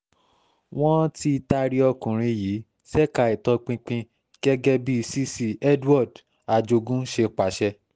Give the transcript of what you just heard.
wọ́n um ti taari ọkùnrin yìí ṣèkà ìtọpinpin gẹ́gẹ́ bí cc edward um ajogun ṣe pàṣẹ